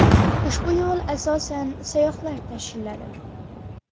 Ushbu yo‘l asosan sayyohlar tashiladi.